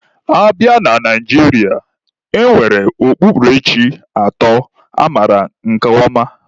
A bịa na Naijiria, e nwere okpukperechi atọ amaara nke ọma.